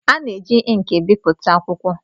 A na-eji ịnkị ebipụta akwụkwọ.